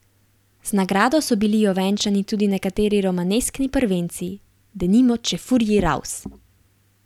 Z nagrado so bili ovenčani tudi nekateri romaneskni prvenci, denimo Čefurji raus!